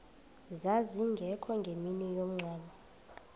zazingekho ngemini yomngcwabo